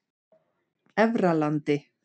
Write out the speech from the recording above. Efralandi